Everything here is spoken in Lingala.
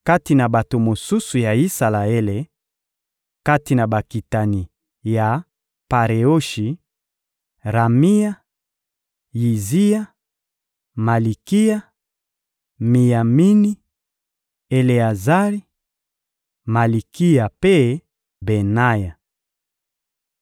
Kati na bato mosusu ya Isalaele: kati na bakitani ya Pareoshi: Ramia, Yiziya, Malikiya, Miyamini, Eleazari, Malikiya mpe Benaya.